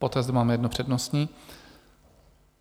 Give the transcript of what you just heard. Poté zde máme jedno přednostní.